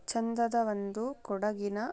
ಚಂದದ ಒಂದು ಕೊಡಗಿನ--